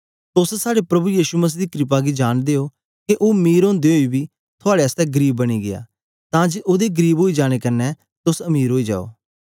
तोस साड़े प्रभु यीशु मसीह दी क्रपा गी जांनदे ओ के ओ मीर ओदे ओई बी थुआड़े आसतै गरीब बनी गीया तां जे ओदे गरीब ओई जाने कन्ने तोस मीर ओई जाओ